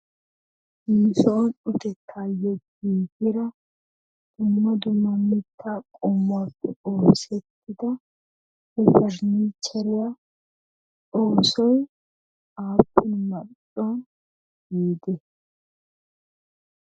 Nusoon uttettayo giiggida dumma dumma mittaa qommuwappe oosettida pariniichcheriya oosoy aappun...